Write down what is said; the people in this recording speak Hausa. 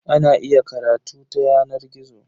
Ana iya karatu ta yanar gizo.